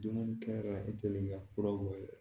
Dumuni kɛ yɔrɔ i kɛlen ka fura bɔ ye dɛ